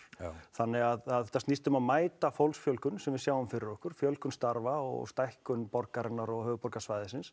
þannig þetta snýst um að mæta fólksfjölgun sem við sjáum fyrir okkur með fjölgun starfa og stækkun höfuðborgarsvæðis